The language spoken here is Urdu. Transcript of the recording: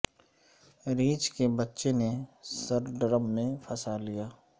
ریچھ کے بچے نے سر ڈرم میں پھنسا لیا